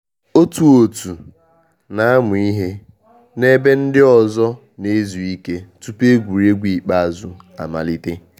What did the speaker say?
Otu òtù na amụ ihe na ebe ndị ọzọ na ezu ike tupu egwuregwu ikpeazụ amalite